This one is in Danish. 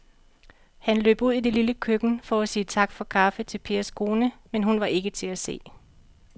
Han løb ud i det lille køkken for at sige tak for kaffe til Pers kone, men hun var ikke til at se.